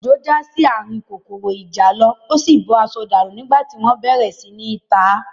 Òjó já sí ààrin kòkòrò ìjàlọ, ó sì bọ́ aṣọ dànù nígbà tí wọ́n bẹ̀rẹ̀ sí í ta á